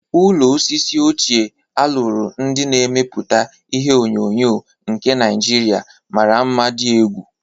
Ụlọ osisi ochie a lụrụ ndị na-emeputa ihe onyonyo nke Naijiria mara mma dị egwu.